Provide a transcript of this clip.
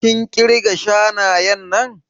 Kin ƙirga shanayen nan?